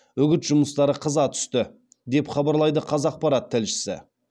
үгіт жұмыстары қыза түсті деп хабарлайды қазақпарат тілшісі